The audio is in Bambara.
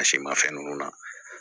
A si ma fɛn nunnu na